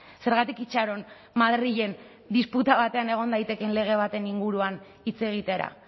zergatik itxaron madrilen disputa batean egon daitekeen lege baten inguruan hitz egitera